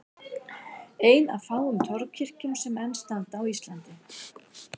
Ein af fáum torfkirkjum sem enn standa á Íslandi.